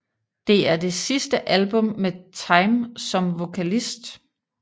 Det er det sidste album med Thyme som vokalist